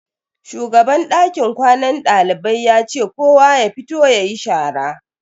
Shugaban dakin kwanan dalibai ya ce kowa ya fito yayi shara.